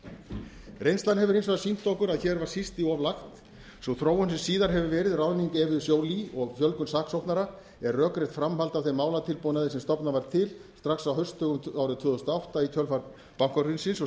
fjárlögum reynslan hefur hins vegar sýnt okkur að hér var síst í of lagt sú þróun sem síðan hefur verið ráðning evu joly og fjölgun saksóknara er rökrétt framhald af þeim málatilbúnaði sem stofnað var til strax á haustdögum tvö þúsund og átta í kjölfar bankahrunsins og